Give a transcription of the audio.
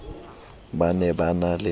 ba ne ba na le